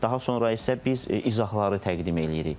Daha sonra isə biz izahları təqdim eləyirik.